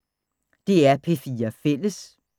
DR P4 Fælles